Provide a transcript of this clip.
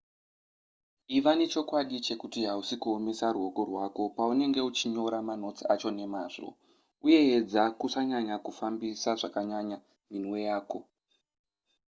iva nechokwadi chekuti hausi kuomesa ruoko rwako paunenge uchinyora manotsi acho nemazvo uye edza kusanyanya kufambisa zvakanyanya minwe yako